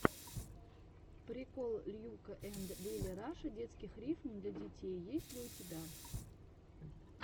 прикол льюка энд лили раша детских рифм для детей есть ли у тебя